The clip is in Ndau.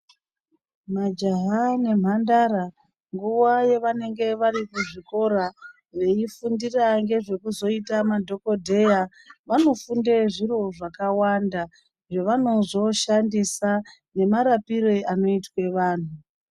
Majaha nemhandara nguva yavanenge variku chikora veyifundira ngezveku zoite madhokodheya vanofundire zviro zvakawanda zvavano zoshandisa nemarapirwe anoita vantu.